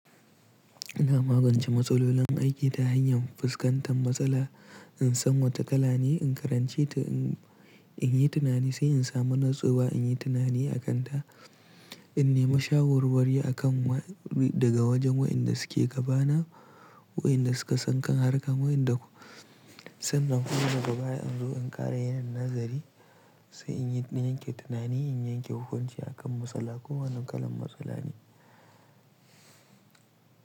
Ina magance matsalolin aiki ta hanyar fuskantar matsala, in san wata kala ne in karanci ta, in yi tunani sai in samu nutsuwa, in yi tunani a kan ta, in nima shawarwari a kan daga wajen waɗanda suke gaba na, waɗanda suka san kan harka, sannan kuma daga baya in zo in ƙara yin nazari sai in yanke tunani, in yanke hukunci a kan matsala ko wannan kalan matsala ne.